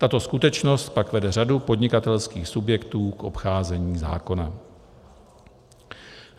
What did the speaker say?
Tato skutečnost pak vede řadu podnikatelských subjektů k obcházení zákona.